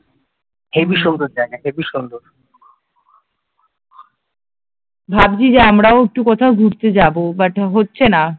ভাবছি যে আমরাও একটু কোথাও ঘুরতে যাব বাট হচ্ছে না